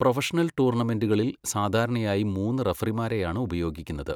Professional ടൂർണമെന്റുകളിൽ സാധാരണയായി മൂന്ന് റഫറിമാരെയാണ് ഉപയോഗിക്കുന്നത്.